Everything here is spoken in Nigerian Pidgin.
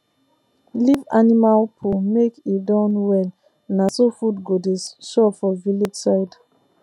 leave animal poo make e Accepted well na so food go dey sure for village side